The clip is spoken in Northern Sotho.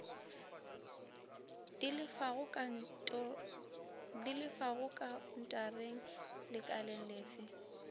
di lefago khaontareng lekaleng lefe